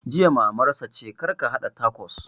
Jiya Maman sa ce kar ya haɗa takos!